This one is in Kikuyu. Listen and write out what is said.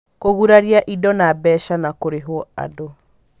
Kũguraria indo na mbeca na kũrĩhwo andũ